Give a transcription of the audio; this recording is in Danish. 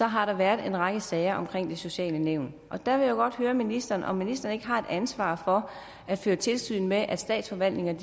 har været en række sager i de sociale nævn og der jo godt høre ministeren om ministeren ikke har et ansvar for at føre tilsyn med at statsforvaltningerne